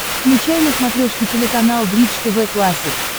включай на смотрешке телеканал бридж тв классик